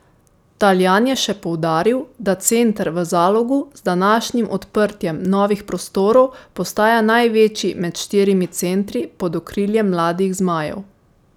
Taljan je še poudaril, da center v Zalogu z današnjim odprtjem novih prostorov postaja največji med štirimi centri pod okriljem Mladih zmajev.